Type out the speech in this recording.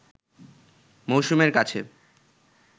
মৌসুমীর কাছে